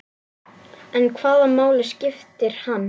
En hvaða máli skiptir hann?